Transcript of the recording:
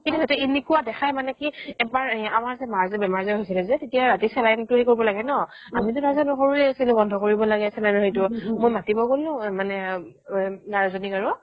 কেতিয়াবাতো এনেকুৱা দেখাই মানে কি এবাৰ এই আমাৰ মাৰ যে বেমাৰ যে হৈছিলে যে তেতিয়া ৰাতি saline টো সেই কৰিব লাগে ন আমি যে নাজানো সৰুয়ে আছিলো বন্ধ কৰিব লাগে saline ৰ হেৰিটো মই মাতিব গ'লো অ মানে উম nurse জনীক আৰু